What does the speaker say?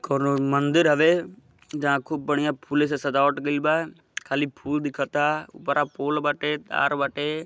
कोवनो मंदिर हउए। जहाँ खूब बढ़िया फूलो से सजावट गइल बा। खाली फुल दिखता। उपरा पोल बाटे। तार बाटे।